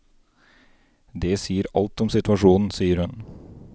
Det sier alt om situasjonen, sier hun.